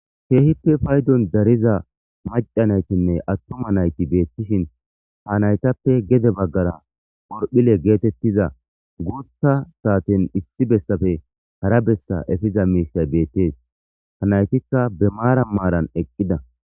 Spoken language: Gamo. keehippe paydon dariza macca naytinne attuma nayti beettishin ha naytappe gede baggara horphile geetettiza guutta saatin isti bessafe hara bessa efiza miisay beettees ha naytikka be maara maaran eqqida.